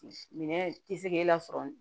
Minɛn tɛ se k'e lasɔrɔ